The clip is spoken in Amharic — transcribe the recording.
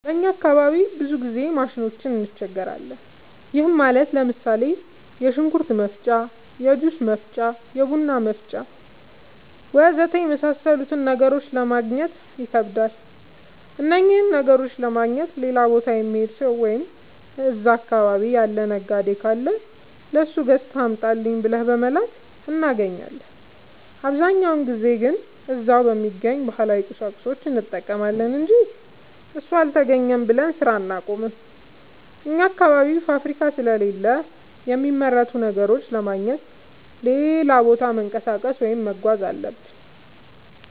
በእኛ አካባቢ ብዙ ጊዜ ማሽኖች እንቸገራለን። ይህም ማለት ለምሳሌ፦ የሽንኩርት መፍጫ፣ የጁስ መፍጫ፣ የቡና መፍጫ.... ወዘተ የመሣሠሉትን ነገሮች ለማገግኘት ይከብዳሉ። እነኝህን ነገሮች ለማግኘት ሌላ ቦታ የሚሄድ ሠው ወይም እዛ አካባቢ ያለ ነጋዴ ካለ ለሱ ገዝተህ አምጣልኝ ብለን በመላክ እናገኛለን። አብዛኛውን ጊዜ ግን እዛው በሚገኝ ባህላዊ ቁሳቁስ እንጠቀማለን አንጂ እሱ አልተገኘም ብለን ስራ አናቆምም። አኛ አካባቢ ፋብሪካ ስለሌለ የሚመረቱ ነገሮችን ለማግኘት ሌላ ቦታ መንቀሳቀስ ወይም መጓዝ አለብን።